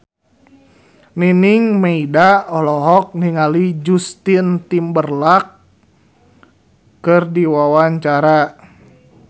Nining Meida olohok ningali Justin Timberlake keur diwawancara